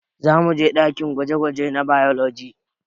Zamuje ɗakin gwaje-gwaje na bailoji